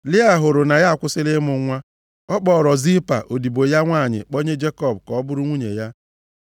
Lịa hụrụ na ya akwụsịla ịmụ nwa, ọ kpọọrọ Zilpa, odibo ya nwanyị kpọnye Jekọb ka ọ bụrụ nwunye ya.